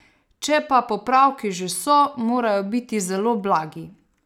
Če pa popravki že so, morajo biti zelo blagi.